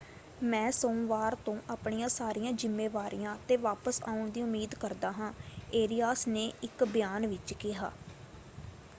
ਮੈਂ ਸੋਮਵਾਰ ਤੋਂ ਆਪਣੀਆਂ ਸਾਰੀਆਂ ਜ਼ਿੰਮੇਵਾਰੀਆਂ 'ਤੇ ਵਾਪਸ ਆਉਣ ਦੀ ਉਮੀਦ ਕਰਦਾ ਹਾਂ, ਏਰਿਆਸ ਨੇ ਇੱਕ ਬਿਆਨ ਵਿੱਚ ਕਿਹਾ।